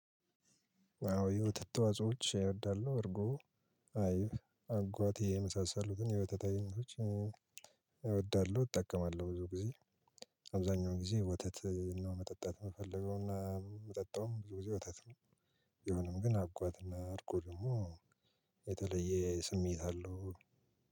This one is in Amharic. አዋ የወተት ተዋጾች እወዳለሁ። እርጎ፣ አይብ፣ አጓቴ፣ የመሳሰሉትን የወተት አይነቶች እወዳለሁ። እጠቀማለሁ። ብዙ ጊዜ አብዛኛው ጊዜ ወተት ነው መጠጣት ምፈልገው። እና ምጠጣውም ብዙ ጊዜ ወተት ነው። ቢሆንም ግን አጓትና አርጎ ደግሞ፣ የተለየ ስሜት አለው።